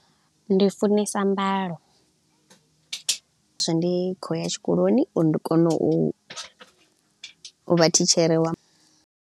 Ndi funesa mbalo, hezwi ndi khou ya tshikoloni uri ndi kone u vha thitshere wa ma.